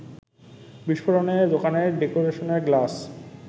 বিস্ফোরণে দোকানের ডেকেরেশনের গ্লাস